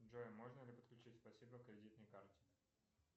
джой можно ли подключить спасибо к кредитной карте